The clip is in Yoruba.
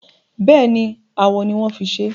Bẹ́ẹ̀ni, awo ni wọ́n fi ṣé.